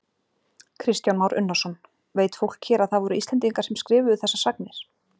Kristján Már Unnarsson: Veit fólk hér að það voru Íslendingar sem skrifuðu þessar sagnir?